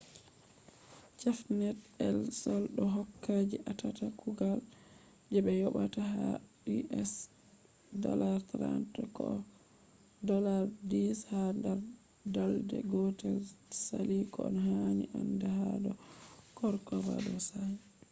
cafenet el sol do hokka je atata kugal je be yobata ha us$30 koh $10 ha dar balde gotel sali koh hani anda ha do corcovado shafi